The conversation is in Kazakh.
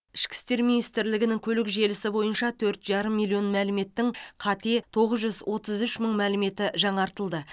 ішкі істер министрлігінің көлік желісі бойынша төрт жарым миллион мәліметтің қате тоғыз жүз отыз үш мың мәліметі жаңартылды